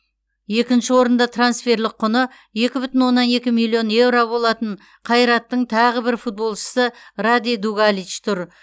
екінші орында трансферлік құны екі бүтін оннан екі миллион еуро болатын қайраттың тағы бір футболшысы раде дугалич тұр